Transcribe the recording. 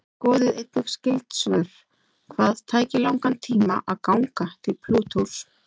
Skoðið einnig skyld svör: Hvað tæki langan tíma að ganga til Plútós?